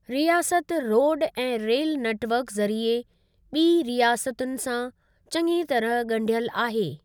रियासत रोडु ऐं रेल नेट वर्क ज़रिए ॿीं रियासतुनि सां चङी तरह ॻंढियल आहे।